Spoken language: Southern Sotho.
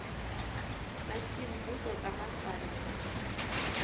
tsa semmuso tsa matswalla di